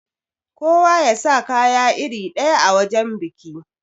Kowa yasa kaya iri ɗaya a wajan biki.